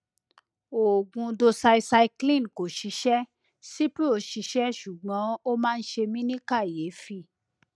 oògùn doxycycline kò ṣiṣẹ cipro ṣiṣẹ ṣùgbọn ó máa ń ṣe mí ní kàyéfì